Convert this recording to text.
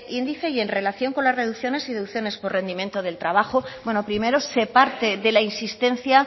índice y en relación con la reducciones y deducciones por rendimiento del trabajo bueno primero se parte de la insistencia